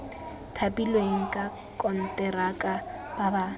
thapilweng ka konteraka ba ba